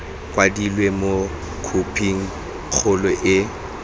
kwadilwe mo khophing kgolo le